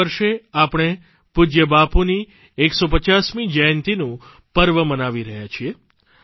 આ વર્ષે આપણે પૂજય બાપુની 150મી જયંતિનું પર્વ મનાવી રહ્યા છીએ